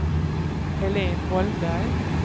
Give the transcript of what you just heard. Helén Holmberg